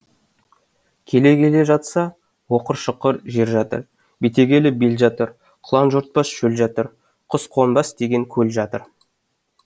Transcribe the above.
келе келе жатса оқыр шұқыр жер жатыр бетегелі бел жатыр құлан жортпас шөл жатыр құсқонбас деген көл жатыр